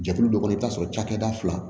Jɛkulu dɔ kɔnɔ i bɛ t'a sɔrɔ cakɛda fila